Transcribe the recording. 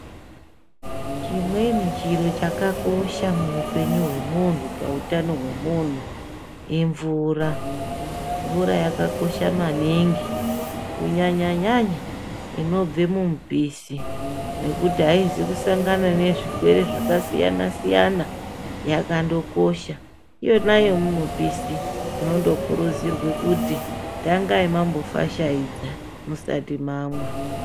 Chimweni chiro chakakosha muupenyu hwemunhu pautano hwemunhu imvura ,mvura yakakosha maningi kunyanyanyanya inobve mumupisi ngekuti aizi kusangana nezvirwere zvakasiyanasiyana yakandokosha iyona yemumupisi zvinondokuridzirwe kuti tangai mwambofashaidza musati mamwa.